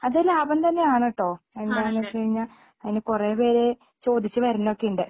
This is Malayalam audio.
അത് ലാഭം തന്നെയാണ് ട്ടോ എന്താന്ന് വെച്ചുകഴിഞ്ഞാ അതിനെ കുറെ പേര് ചോദിച്ച് വരുന്നൊക്കെയുണ്ട്